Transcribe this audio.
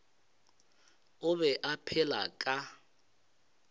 o be a phela ka